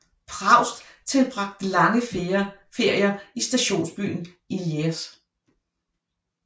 Proust tilbragte lange ferier i stationsbyen Illiers